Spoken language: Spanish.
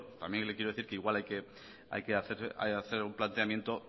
también le quiero decir que igual hay que hacer un planteamiento